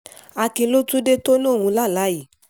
akin ló tún dé tó lòun lálàá yìí